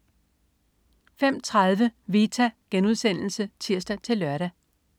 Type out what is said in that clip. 05.30 Vita* (tirs-lør)